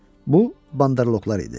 Bu banderloqlar idi.